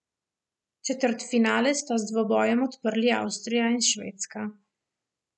Četrtfinale sta z dvobojem odprli Avstrija in Švedska.